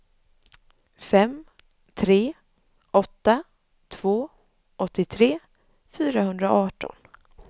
fem tre åtta två åttiotre fyrahundraarton